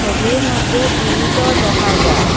ছবির মদ্যে গিরিলও দেখা যার।